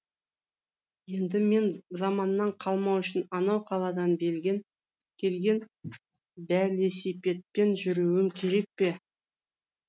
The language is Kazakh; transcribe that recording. енді мен заманнан қалмау үшін анау қаладан келген бәлесипедпен жүруім керек пе